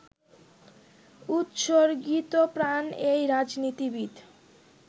উৎসর্গীতপ্রাণ এই রাজনীতিবিদ